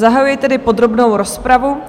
Zahajuji tedy podrobnou rozpravu.